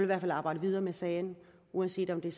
hvert fald arbejde videre med sagen uanset om det